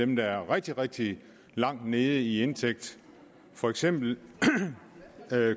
dem der er rigtig rigtig langt nede i indtægt for eksempel